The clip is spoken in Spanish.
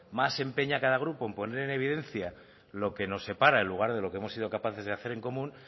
más se empeña cada grupo en poner en evidencia lo que nos separa en lugar de lo que hemos sido capaces de hacer en común